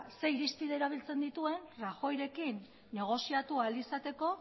zer irizpide erabiltzen dituen rajoyrekin negoziatu ahal izateko